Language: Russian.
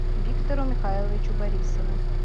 виктору михайловичу борисову